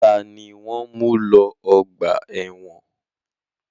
Ta ni wọ́n ń mu lọ ọgbà ẹ̀wọ́n?